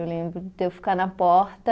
Eu lembro de eu ficar na porta